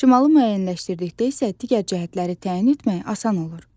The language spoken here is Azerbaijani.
Şimalı müəyyənləşdirdikdə isə digər cəhətləri təyin etmək asan olur.